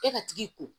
E ka tigi ko